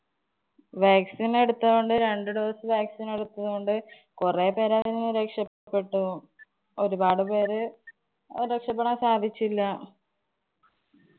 vaccine എടുത്തതോണ്ട് രണ്ടു dose എടുത്തതുകൊണ്ട് കൊറേ പേരതിൽ നിന്ന് രക്ഷപ്പെട്ടു. ഒരുപാട് പേര് രക്ഷപ്പെടാന്‍ സാധിച്ചില്ല.